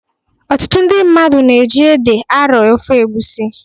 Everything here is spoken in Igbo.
Ọtụtụ ndị mmadụ na-eji ede arọ ofe egwusi.